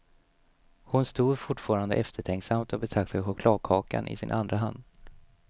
Hon stod fortfarande eftertänksamt och betraktade chokladkakan i sin andra hand.